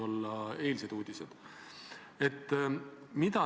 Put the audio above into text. Kindlasti on meil Viive Aasmaga seoses EAS-iga erinevad kogemused.